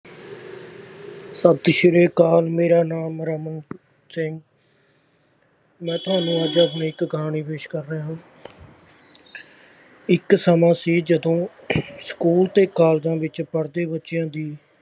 ਸਤਿ ਸ੍ਰੀ ਅਕਾਲ ਮੇਰਾ ਨਾਮ ਰਮਨ ਸਿੰਘ ਮੈਂ ਤੁਹਾਨੂੰ ਅੱਜ ਆਪਣੀ ਇੱਕ ਕਹਾਣੀ ਪੇਸ਼ ਕਰ ਰਿਹਾ ਹਾਂ ਇੱਕ ਸਮਾਂ ਸੀ ਜਦੋਂ ਸਕੂਲ ਤੇ ਕਾਲਜਾਂ ਵਿੱਚ ਪੜ੍ਹਦੇ ਬੱਚਿਆਂ ਦੀ